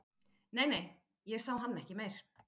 Nei, nei, ég sá hann ekki meir